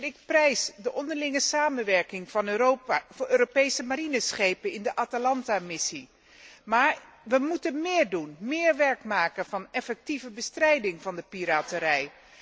Ik prijs de onderlinge samenwerking van Europa voor de inzet van Europese marineschepen in de Atalanta missie, maar wij moeten meer doen, meer werk maken van effectieve bestrijding van piraterij.